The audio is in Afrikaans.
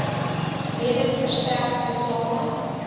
redes verstrek tesame